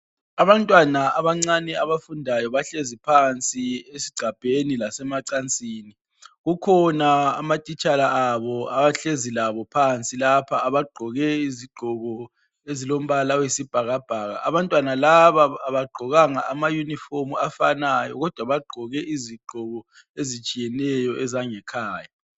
Abantwana abancane abafundayo bahlezi phansi ezigcabheni lasemacansini. Kukhona amatitshala abo ahlezi labo phansi lapha agqoke izigqoko ezilombala oyisibhakabhaka. Abantwana laba abagqokanga amayunifomu afanayo kodwa bagqoke izigqoko ezitshiyeneyo ezangekhaya.